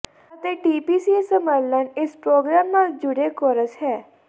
ਅਤੇ ਟੀਪੀਸੀ ਸਮਰਲਨ ਇਸ ਪ੍ਰੋਗਰਾਮ ਨਾਲ ਜੁੜੇ ਕੋਰਸ ਹੈ